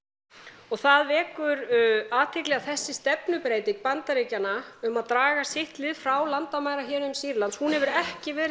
og það vekur athygli að þessi stefnubreyting Bandaríkjanna um að draga sitt lið frá landamærahéruðum Sýrlands hún hefur ekki verið